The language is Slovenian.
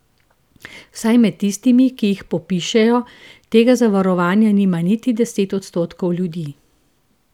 Vsaj med tistimi, ki jih popišejo, tega zavarovanja nima niti deset odstotkov ljudi.